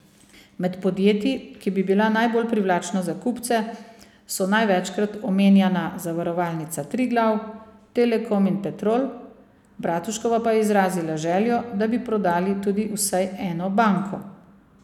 Med podjetji, ki bi bila najbolj privlačna za kupce, so največkrat omenjana Zavarovalnica Triglav, Telekom in Petrol, Bratuškova pa je izrazila željo, da bi prodali tudi vsaj eno banko.